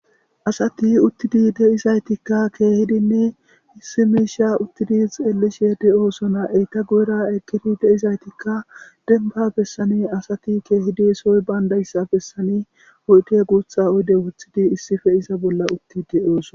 Asati uttidi de'izautika keejidinne issi misha ittidi xeelishe de'osona eye guyera eqidi de'izaytika demba garden asati keejidi soy bandaysa bessan oyde gutha oyde wothidi issipe iza nolla uttidi fe'osona